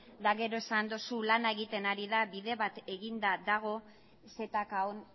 eta gero esan duzu lana egiten ari dela bide bat eginda dagoela zkon